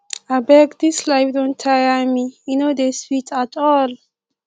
abeg dis life don tire me e no dey sweet at all